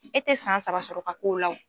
E tɛ san saba sɔrɔ ka k'o la o.